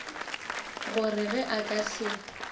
gore ge a ka se